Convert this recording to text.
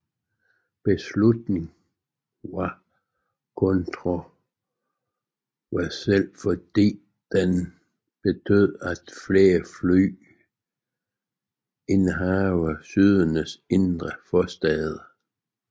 Beslutningen var kontroversiel fordi den betød flere fly indover Sydneys indre forstæder